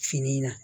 Fini in na